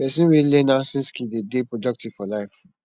pesin wey learn handson skill dey dey productive for life